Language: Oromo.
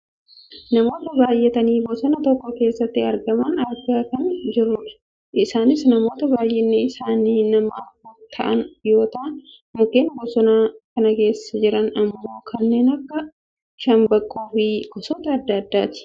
namoota baayyatanii bosona tokko keessatti argaman argaa kan jirrudha. isaanis namoota baayyinni isaanii nama afur ta'an yoo ta'an mukeen bosona kana keessa jiran ammoo kanneen akka shambaqqoofi gosoota adda addaati.